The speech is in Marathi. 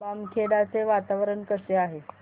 बामखेडा चे वातावरण कसे आहे